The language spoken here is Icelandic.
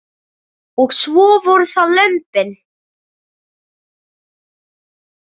Og svo voru það lömbin.